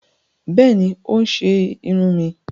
Bẹẹni, o n ṣe irun mí